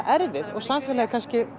erfið samfélagið